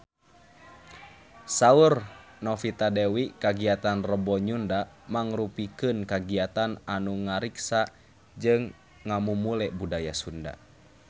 Saur Novita Dewi kagiatan Rebo Nyunda mangrupikeun kagiatan anu ngariksa jeung ngamumule budaya Sunda